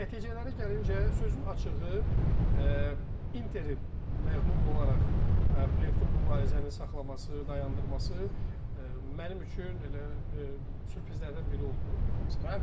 Nəticələrə gəlincə, sözün açığı Interin məğlub olaraq playoffda mübarizəni saxlaması, dayandırması mənim üçün elə sürprizlərdən biri oldu, tam səhv.